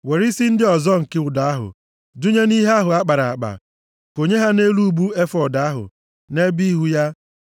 Were isi ndị ọzọ nke ụdọ ahụ dụnye nʼihe ahụ a kpara akpa. Konye ha nʼelu ubu efọọd ahụ, nʼebe ihu ya.